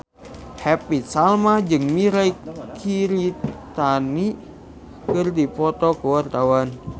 Happy Salma jeung Mirei Kiritani keur dipoto ku wartawan